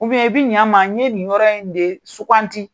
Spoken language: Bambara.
i bi ɲa n ma n ye nin yɔrɔ in de suganti.